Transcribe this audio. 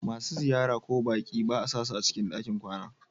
Masu ziyara ko baƙi ba a sasu cikin ɗakin kwana.